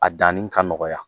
A danin ka nɔgɔya.